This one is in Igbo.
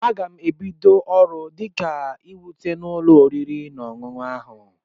Aga m ebido ọrụ dịka weta n'ụlọ oriri na ọṅụṅụ ahụ.